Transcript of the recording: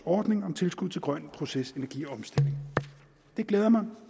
ordning om tilskud til grøn procesenergiomstilling det glæder mig